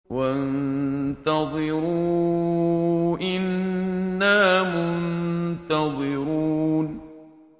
وَانتَظِرُوا إِنَّا مُنتَظِرُونَ